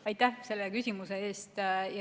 Aitäh selle küsimuse eest!